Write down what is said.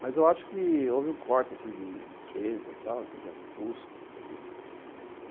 Mas eu acho que houve um corte assim de despesa, custo, não sei o quê.